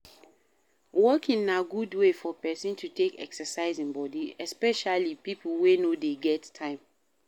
Walking na good wey for person to take exercise im body, especially pipo wey no dey get time